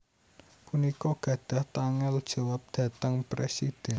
punika gadhah tanggel jawab dhateng Presidhèn